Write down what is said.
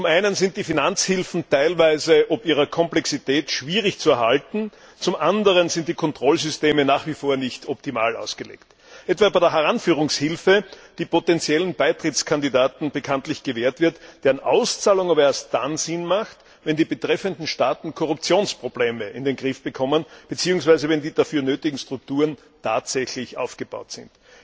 Zum einen sind die Finanzhilfen teilweise ob ihrer Komplexität schwierig zu erhalten, zum anderen sind die Kontrollsysteme nach wie vor nicht optimal ausgelegt, etwa bei der Heranführungshilfe, die bekanntlich potenziellen Beitrittskandidaten gewährt wird, deren Auszahlung aber erst dann Sinn macht, wenn die betreffenden Staaten Korruptionsprobleme in den Griff bekommen, beziehungsweise wenn die dafür nötigen Strukturen tatsächlich aufgebaut sind.